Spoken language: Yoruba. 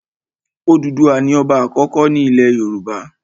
Òdùduwà ni ọba àkọ́kọ́ ilẹ̀ Yorùbá.